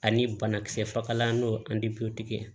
Ani banakisɛ fagalan n'o ye ye